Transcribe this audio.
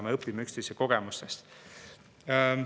Me õpime üksteise kogemustest.